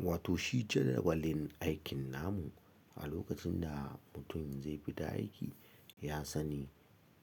Wato shi jadawalin aikin namu a lokacin da mutum zai fita aiki, ya sani